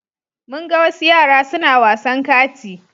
Mun ga wasu yara suna wasan kati.